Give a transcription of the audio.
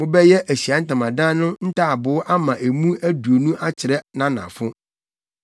Mobɛyɛ Ahyiae Ntamadan no ntaaboo ama emu aduonu akyerɛ nʼanafo.